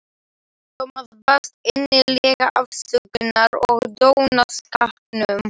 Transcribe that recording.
Thomas baðst innilega afsökunar á dónaskapnum.